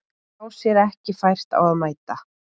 Sá sér ekki fært á að mæta